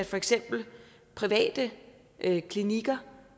for eksempel private klinikker